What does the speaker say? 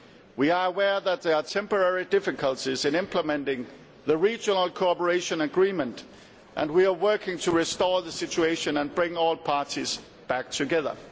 We are aware that there are temporary difficulties in implementing the Regional Cooperation Agreement, and we are working to restore the situation and bring all parties back together.